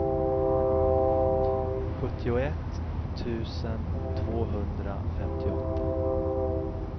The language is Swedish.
sjuttioett tusen tvåhundrafemtioåtta